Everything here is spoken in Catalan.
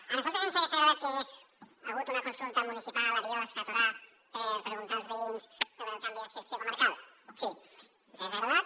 a nosaltres ens hagués agradat que hi hagués hagut una consulta municipal a biosca a torà per preguntar als veïns sobre el canvi d’adscripció comarcal sí ens hagués agradat